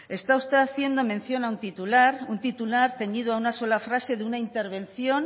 está usted haciendo mención a un titular un titular ceñido a una sola frase de una intervención